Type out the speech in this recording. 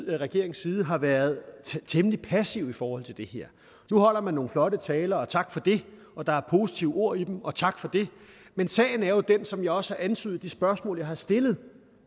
regerings side har været temmelig passiv i forhold til det her nu holder man nogle flotte taler og tak for det og der er positive ord i dem og tak for det men sagen er jo den som jeg også har antydet i de spørgsmål jeg har stillet